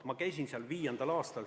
Ma käisin seal 2005. aastal.